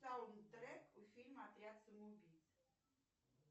саунд трек у фильма отряд самоубийц